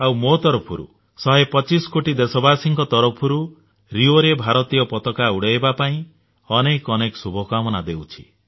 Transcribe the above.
ଆଉ ମୋ ତରଫରୁ ଶହେ ପଚିଶ କୋଟି ଦେଶବାସୀଙ୍କ ତରଫରୁ ରିଓରେ ଭାରତୀୟ ପତାକା ଉଡାଇବା ପାଇଁ ଅନେକ ଅନେକ ଶୁଭକାମନା ଦେଉଛି